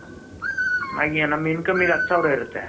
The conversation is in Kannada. ಆದ್ರೆ ನಮ್ಮ income ಹತ್ತು ಸಾವಿರ ಇರುತ್ತೆ.